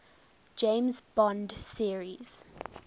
james bond series